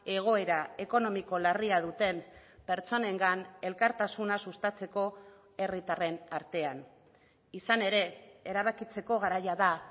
egoera ekonomiko larria duten pertsonengan elkartasuna sustatzeko herritarren artean izan ere erabakitzeko garaia da